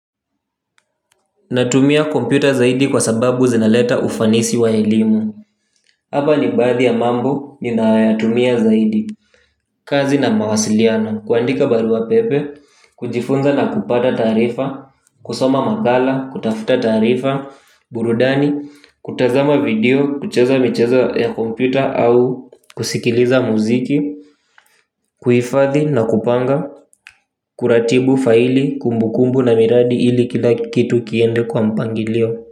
Natumia kompyuta zaidi kwa sababu zinaleta ufanisi wa elimu. Hapa ni baadhi ya mambo ni nayoyatumia zaidi. Kazi na mawasiliano kuandika barua pepe. Kujifunza na kupata taarifa. Kusoma makala, kutafuta taarifa, burudani. Kutazama video, kucheza michezo ya kompyuta au kusikiliza muziki. Kuhifadhi na kupanga kuratibu faili kumbu kumbu na miradi ili kila kitu kiende kwa mpangilio.